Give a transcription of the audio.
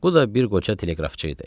Bu da bir qoçaq teleqrafçı idi.